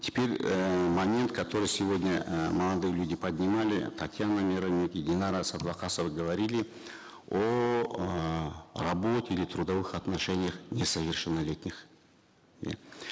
теперь э момент который сегодня э молодые люди поднимали татьяна миронюк и динара садвокасова говорили о эээ работе или трудовых отношениях несовершеннолетних иә